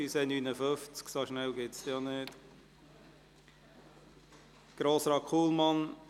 Es handelt sich um eine Motion von Grossrat Kullmann: